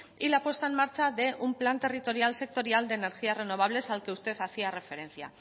y la puesta en marcha de un plan territorial sectorial de energías renovables al que usted hacía referencia